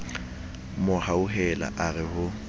mo hauhela a re ho